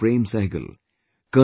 Prem Sehgal, Col